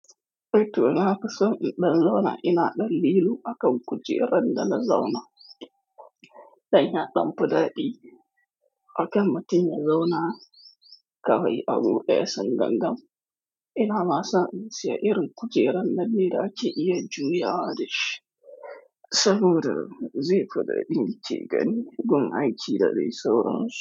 To nafi so in ɗan zauna ina ɗan lilo akan kujerar da na zauna. Dan ya ɗan fi daɗi akan mautum zauna kawai abu ɗaya san gangan. Ina ma san in ce irin kujerar nan ne da ake iya juyawa dashi. Saboda zai fi daɗi knke gani gun aiki da dai sauran su.